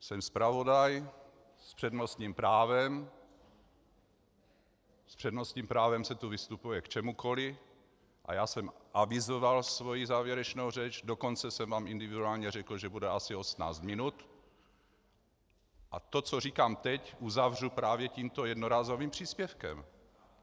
Jsem zpravodaj s přednostním právem, s přednostním právem se tu vystupuje k čemukoliv a já jsem avizoval svoji závěrečnou řeč, dokonce jsem vám individuálně řekl, že bude asi 18 minut, a to, co říkám teď uzavřu právě tímto jednorázovým příspěvkem.